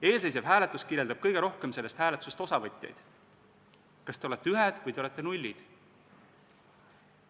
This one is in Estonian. Eelseisev hääletus kirjeldab kõige rohkem sellest hääletusest osavõtjaid: kas te olete ühed või te olete nullid.